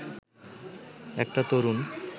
একটা তরুণ